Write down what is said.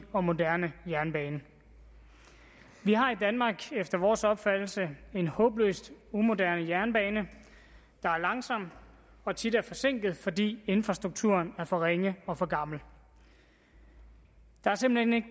og moderne jernbane vi har i danmark efter vores opfattelse en håbløst umoderne jernbane der er langsom og tit er forsinket fordi infrastrukturen er for ringe og for gammel der er simpelt hen